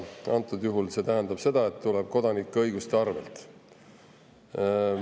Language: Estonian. Antud juhul see tuleb kodanike õiguste arvelt.